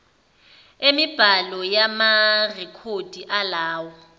emibhalo yamarekhodi alowo